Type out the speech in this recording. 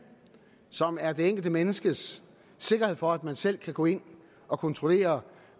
som er det enkelte menneskes sikkerhed for at man selv kan gå ind og kontrollere